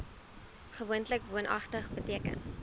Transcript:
gewoonlik woonagtig beteken